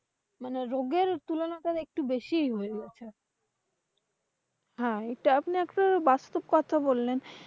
হ্যাঁ, এটা আপনি একটু বাস্তব কথাই বললেন।